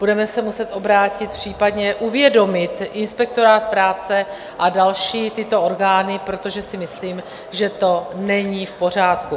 Budeme se muset obrátit případně - uvědomit inspektorát práce a další tyto orgány, protože si myslím, že to není v pořádku.